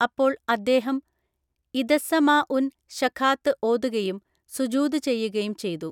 അപ്പോൾ അദ്ദേഹം ഇദസ്സമാഉൻ ശഖാത്തു ഓതുകയും സുജൂദ് ചെയ്യുകയും ചെയ്തു.